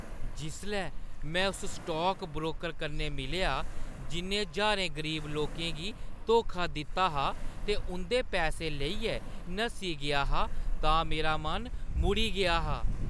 जिसलै में उस स्टॉक ब्रोकर कन्नै मिलेआ जि'न्नै ज्हारें गरीब लोकें गी धोखा दित्ता हा ते उंʼदे पैसे लेइयै नस्सी गेआ हा तां मेरा मन मुड़ी गेआ हा।